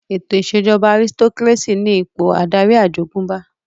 Ètò ìṣèjọba àrisitokírésì ní ipò adarí àjogúnbá